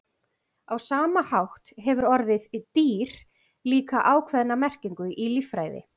á sama hátt hefur orðið „dýr“ líka ákveðna merkingu í líffræði